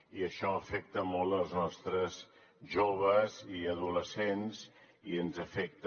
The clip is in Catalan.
i això afecta molt els nostres joves i adolescents i ens afecta